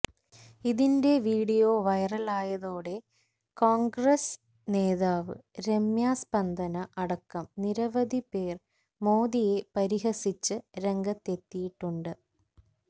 ഇതിന്റെ വീഡിയോ വൈറലായതോടെ കോണ്ഗ്രസ് നേതാവ് രമ്യ സ്പന്ദന അടക്കം നിരവധി പേര് മോദിയെ പരിഹസിച്ച് രംഗത്തെത്തിയിട്ടുണ്ട്